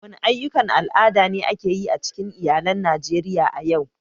Wani aƴƴukan al'ada ne ake yi a cikin iyalan Najeriya a yau?